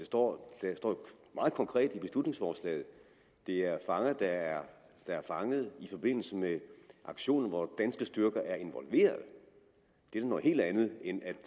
står meget konkret i beslutningsforslaget at det er fanger der er fanget i forbindelse med aktioner hvor danske styrker er involveret det er da noget helt andet